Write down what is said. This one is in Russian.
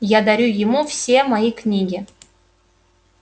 я дарю ему все мои книги